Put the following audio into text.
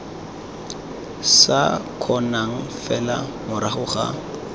sa kgonang fela morago ga